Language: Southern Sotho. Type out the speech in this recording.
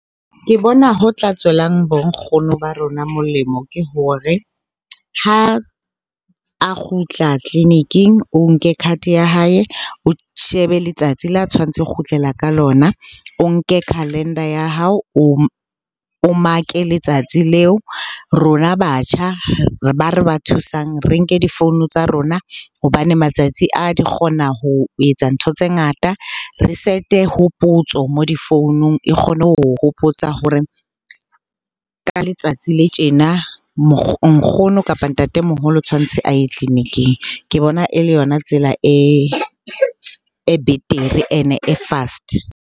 Ke bona ho tla tswelang bo nkgono ba rona molemo ke hore ha a kgutla tleliniking, o nke card-e ya hae o shebe letsatsi la tshwantse ho kgutlela ka lona. O nke calendar ya hao, o mark-e letsatsi leo. Rona batjha ba re ba thusang, re nke difounu tsa rona hobane matsatsi a di kgona ho etsa ntho tse ngata. Re set-e hopotso moo difounung, e kgona ho o hopotsa hore ka letsatsi le tjena nkgono, kapa ntatemoholo tshwantse a ye tleliniking. Ke bona e le yona tsela e betere, ene e fast.